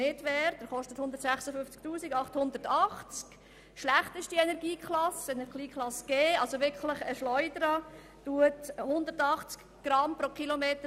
Er gehört zur schlechtesten Energieklasse G, ist also wirklich eine CO-Schleuder mit 180 Gramm CO pro Kilometer.